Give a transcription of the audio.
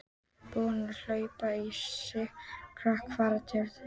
Búinn að hleypa í sig kjarki að fara til hennar.